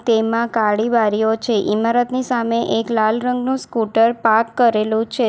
તેમાં કાળી બારીઓ છે ઇમારતની સામે એક લાલ રંગનો સ્કૂટર પાર્ક કરેલું છે.